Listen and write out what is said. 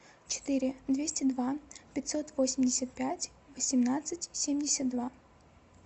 четыре двести два пятьсот восемьдесят пять восемнадцать семьдесят два